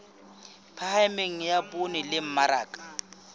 phahameng ya poone le mmaraka